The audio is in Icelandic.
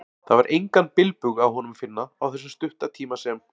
Það var engan bilbug á honum að finna, á þessum stutta tíma sem